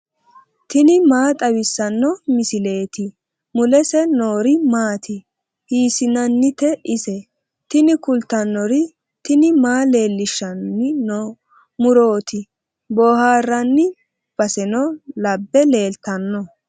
tini maa xawissanno misileeti ? mulese noori maati ? hiissinannite ise ? tini kultannori tini maa leellishanni no murooti boohaarranni baseno labbe leeltanno